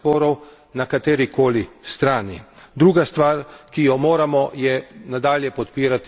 Kako ustaviti nasilje kot sredstvo reševanja sporov na kateri koli strani.